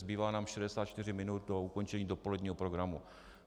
Zbývá nám 64 minut do ukončení dopoledního programu.